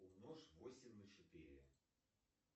умножь восемь на четыре